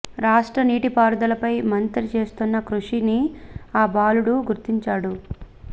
రాష్ట్ర నీటి పారుదలపై మంత్రి చేస్తున్న కృషిని ఆ బాలుడు గుర్తించాడు